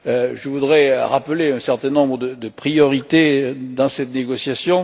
Je voudrais rappeler un certain nombre de priorités dans cette négociation.